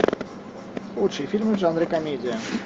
лучшие фильмы в жанре комедия